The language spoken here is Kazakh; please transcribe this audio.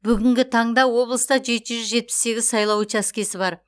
бүгінгі таңда облыста жеті жүз жетпіс сегіз сайлау учаскесі бар